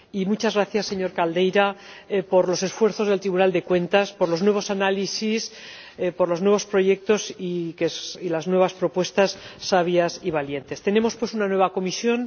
Y muchas gracias, señor Caldeira, por los esfuerzos del Tribunal de Cuentas, por los nuevos análisis, por los nuevos proyectos y por las nuevas propuestas, sabias y valientes. Tenemos, pues, una nueva Comisión.